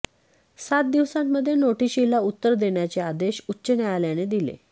सात दिवसांमध्ये नोटिशीला उत्तर देण्याचे आदेश उच्च न्यायालयाने दिले